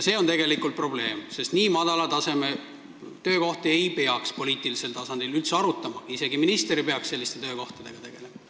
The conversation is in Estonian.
See on tegelikult probleem, sest nii madala taseme töökohti ei peaks poliitilisel tasandil üldse arutama, isegi minister ei peaks selliste töökohtadega tegelema.